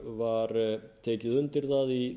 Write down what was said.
var tekið undir það í